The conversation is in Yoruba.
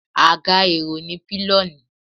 agá erò ni piloní